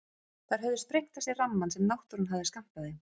Þær höfðu sprengt af sér rammann sem náttúran hafði skammtað þeim.